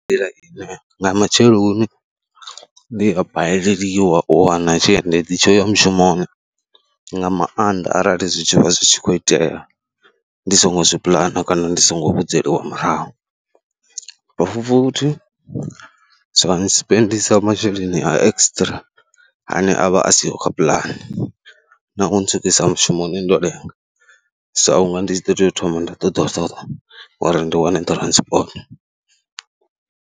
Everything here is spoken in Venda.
Nḓila ine nga matsheloni ndi a baleliwa u wana tshiendedzi tsho ya mushumoni nga maanḓa arali zwi tshi vha zwi tshi khou itea ndi songo zwi puḽana kana ndi songo vhidzeliwa murahu. Fu futhi zwa nsipendisa masheleni a extra ane a vha a siho kha puḽane na u ntswikisa mushumoni ndo lenga, sa u nga ndi ḓo tea u thoma nda ṱoḓulusa uri ndi wane transport.